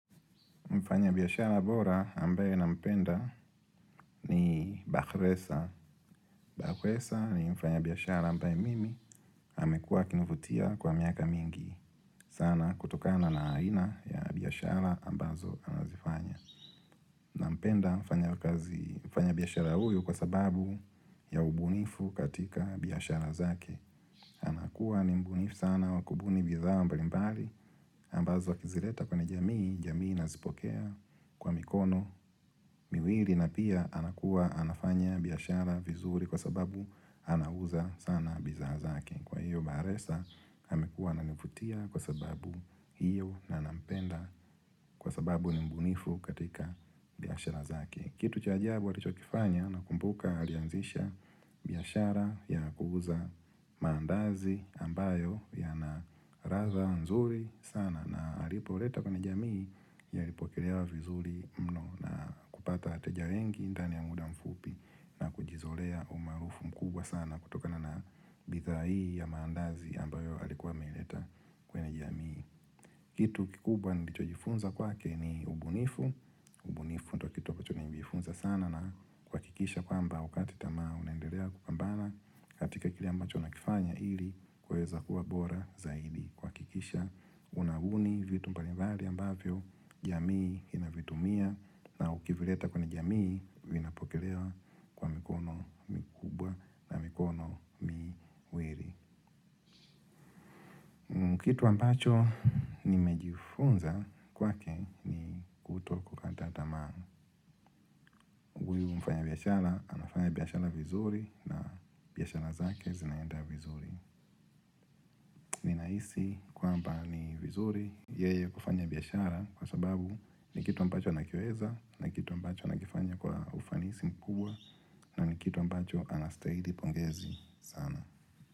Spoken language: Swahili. Mfanya biashara bora ambaye nampenda ni bakresa. Bakresa ni mfanya biyashara ambaye mimi amekua akinuvutia kwa miaka mingi. Sana kutokana na aina ya biashara ambazo anazifanya. Mpenda mfanya biashara huyu kwa sababu ya ubunifu katika biashara zake. Nakua ni mbunifu sana wakubuni bidhaa mbalimbali ambazo wakizileta kwenye jamii. Jamii nazipokea kwa mikono miwili na pia anakuwa anafanya biashara vizuri kwa sababu anauza sana bidhaa zake kwa hiyo bahresa amekuwa ananivutia kwa sababu hiyo nanampenda kwa sababu nimbunifu katika biashara zake kitu cha ajabu alichokifanya nakumbuka alianzisha biashara ya kuuza maandazi ambayo yana ladha nzuri sana na alipoleta kwenye jamii yalipokelewa vizuri mno na kupata wateja wengi ndani ya muda mfupi na kujizolea umaarufu mkubwa sana kutoka na bidhaa hii ya maandazi ambayo alikuwa ameleta kwenye jamii. Kitu kikubwa nilichojifunza kwake ni ubunifu, ubunifu ndio kitu ambacho nilijifunza sana na kuhakikisha kwamba wakati tamaa unaendelea kukambana katika kile ambacho nakifanya ili kuweza kuwa bora zaidi kuhakikisha unahuni vitu mbalimbali ambavyo jamii inavitumia na ukivileta kwenye jamii vinapokelewa kwa mikono mikubwa na mikono miwili. Ni kitu ambacho nimejifunza kwake kutwa kukata tamaa huyu mfanyabiashara anafanya biashara vizuri na biashara zake zinaenda vizuri Ninahisi kwamba ni vizuri yeye kufanya biashara kwa sababu ni kitu ambacho anakiweza na kitu ambacho anakifanya kwa ufanisi mkubwa na ni kitu ambacho anastahili pongezi sana.